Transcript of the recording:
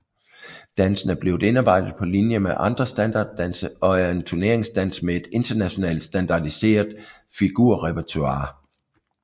Dansen er blevet indarbejdet på linje med andre standarddanse og er en turneringsdans med et internationalt standardiseret figurrepertoire